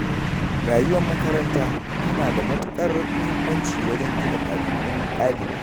Rayuwar makaranta tana da matuƙar muhimmanci wajen gina ɗabi’un ɗalibi.